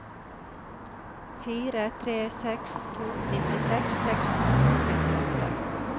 fire tre seks to nittiseks seks hundre og trettiåtte